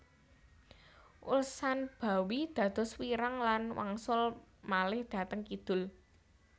Ulsanbawi dados wiirang lan wangsul malih dhateng kidul